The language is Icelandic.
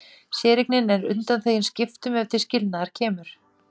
Séreignin er undanþegin skiptum ef til skilnaðar kemur.